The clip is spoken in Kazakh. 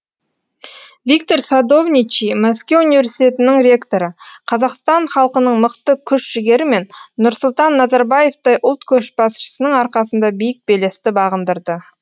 виктор садовничий мәскеу университетінің ректоры қазақстан халқының мықты күш жігері мен нұрсұлтан назарбаевтай ұлт көшбасшысының арқасында биік белесті бағындырды